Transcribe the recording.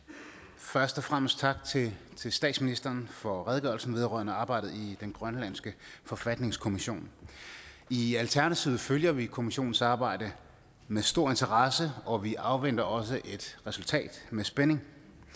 først og fremmest tak til statsministeren for redegørelsen vedrørende arbejdet i den grønlandske forfatningskommission i alternativet følger vi kommissionens arbejde med stor interesse og vi afventer også et resultat med spænding